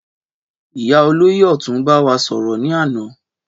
Ìyá olóyè òtún bá wa sòrò ní àná